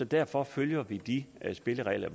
derfor følger vi de spilleregler